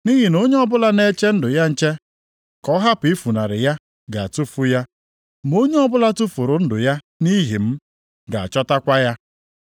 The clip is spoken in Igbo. Nʼihi na onye ọbụla na-eche ndụ ya nche ka ọ hapụ ifunarị ya ga-atụfu ya. Ma onye ọbụla tufuru ndụ ya nʼihi m, ga-achọtakwa ya.